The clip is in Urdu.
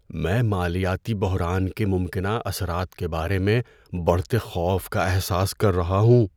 میں مالیاتی بحران کے ممکنہ اثرات کے بارے میں بڑھتے خوف کا احساس کر رہا ہوں۔